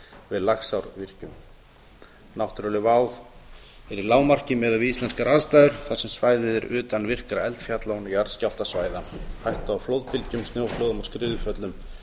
við laxárvirkjun náttúruleg vá er í lágmarki miðað við íslenskar aðstæður þar sem svæðið er utan virkra eldfjalla og jarðskjálftasvæða hætta á flóðbylgjum snjóflóðum og skriðuföllum